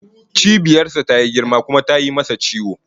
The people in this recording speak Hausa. Cibiyar sa tayi girma kuma tayi masa ciwo